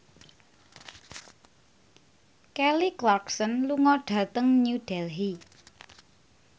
Kelly Clarkson lunga dhateng New Delhi